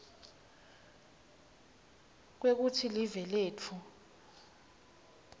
kwekutsi live letfu